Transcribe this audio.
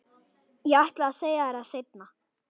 Ég ætlaði að segja þér það seinna.